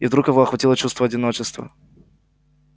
и вдруг его охватило чувство одиночества